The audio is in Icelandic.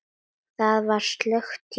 Það var slökkt í mér.